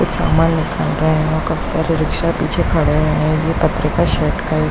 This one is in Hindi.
कुछ सामान निकाल रहे है काफी सारे रिक्शा पीछे खड़े है ये पत्रिका का--